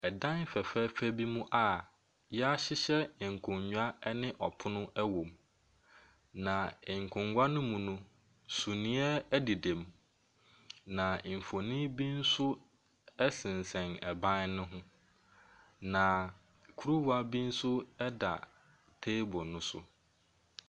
Dan fɛfɛɛfɛ bi a yɛahyehyɛ nkonnwa ɛne ɔpono ɛwɔ mu. Na nkonnwa ne mu no, suneɛ ɛdeda mu. Na mfonini bi nso ɛsensɛn ban ne ho. Na kuruwa bi nso ɛda table no so.